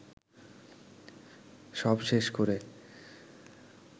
সব শেষ করে